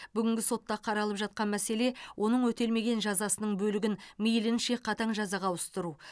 бүгінгі сотта қаралып жатқан мәселе оның өтелмеген жазасының бөлігін мейлінше қатаң жазаға ауыстыру